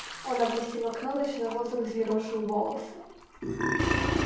он опустил окно ночной воздух взъерошил волосы